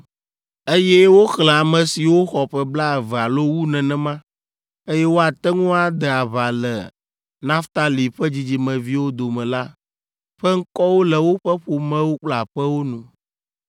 Eye woxlẽ ame siwo xɔ ƒe blaeve alo wu nenema, eye woate ŋu ade aʋa le Naftali ƒe dzidzimeviwo dome la ƒe ŋkɔwo le woƒe ƒomewo kple aƒewo nu.